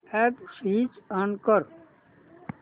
app switch on कर